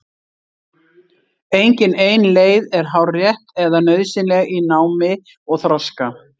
Engin ein leið er hárrétt eða nauðsynleg í námi og þroska.